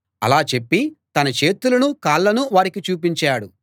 అలా చెప్పి తన చేతులనూ కాళ్ళనూ వారికి చూపించాడు